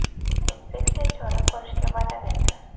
Inspeksiya chora ko‘rishga va’da berdi.